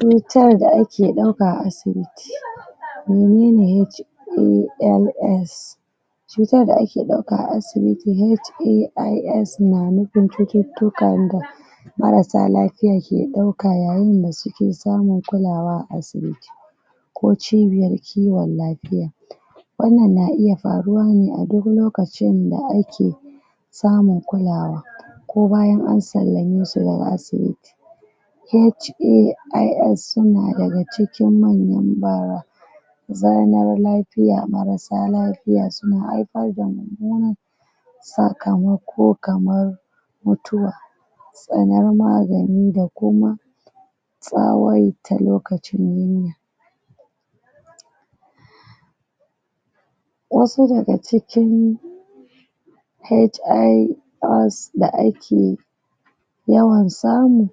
Cutar da ake ɗauka a asibiti cutar da ake ɗauka a asibiti HAIS na nupin cututtukan da marasa lapiya ke ɗauka yayin da suke samin kulawa a asibiti ko cibiyar kiwon lapiya wannan na iya faruwa ne a duk lokacin da ake samun kulawa ko bayan an sallame su daga asibiti HAIS suna daga cikin wannan sakamako kamar mutuwa, tsanar magani da kuma wasu daga cikin hais da ake da ake yawan samu,